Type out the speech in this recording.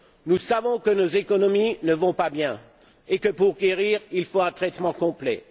Nous savons que nos économies ne vont pas bien et que, pour guérir, il faut un traitement complet.